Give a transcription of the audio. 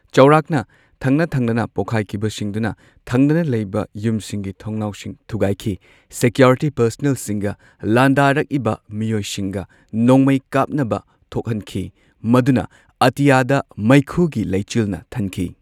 ꯆꯥꯎꯔꯥꯛꯅ ꯊꯪꯅꯊꯪꯅꯅ ꯄꯣꯛꯈꯥꯢꯈꯤꯕꯁꯤꯡꯗꯨꯅ ꯊꯪꯅꯅ ꯂꯩꯕ ꯌꯨꯝꯁꯤꯡꯒꯤ ꯊꯣꯡꯅꯥꯎꯁꯤꯡ ꯊꯨꯒꯥꯢꯈꯤ꯫ ꯁꯦꯀ꯭ꯌꯨꯔꯤꯇꯤ ꯄꯥꯔꯁꯅꯦꯜꯁꯤꯡꯒ ꯂꯥꯟꯗꯥꯔꯛꯏꯕ ꯃꯤꯑꯣꯢꯁꯤꯡꯒ ꯅꯣꯡꯃꯩ ꯀꯥꯞꯅꯕ ꯊꯣꯛꯍꯟꯈꯤ꯫ ꯃꯗꯨꯅ ꯑꯇꯤꯌꯥꯗ ꯃꯩꯈꯨꯒꯤ ꯂꯩꯆꯤꯜꯅ ꯊꯟꯈꯤ꯫